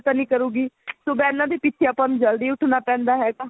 ਤਾਂ ਨੀ ਕਰੂਗੀ ਸੁਬਹ ਇਹਨਾ ਦੇ ਪਿੱਛੇ ਆਪਾਂ ਨੂੰ ਜਲਦੀ ਉੱਠਣਾ ਪੈਂਦਾ ਹੈਗਾ